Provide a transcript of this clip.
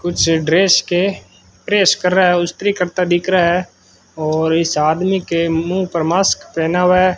कुछ ड्रेस के प्रेस कर रहा है स्त्री करता दिख रहा है और इस आदमी के मुंह पर मास्क पहना हुआ है।